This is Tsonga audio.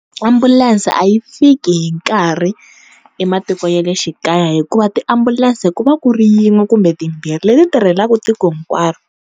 Ambulense a yi fiki hi nkarhi ematiko ya le xikaya hikuva tiambulense ku va ku ri yin'we kumbe timbirhi leti tirhelaku tiko hinkwaro.